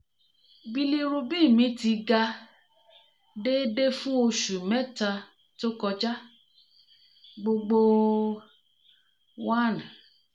bilirubin mi ti ga déédéé fún oṣù mẹ́ta tó kọjá (gbogbo: one